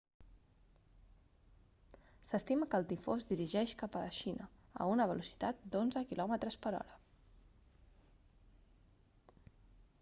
s'estima que el tifó es dirigeix cap a la xina a una velocitat d'onze km/h